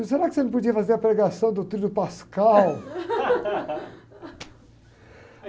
Será que você não podia fazer a pregação do Tríduo Pascal?